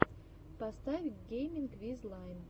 поставь гейминг виз лайн